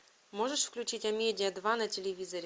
можешь включить амедиа два на телевизоре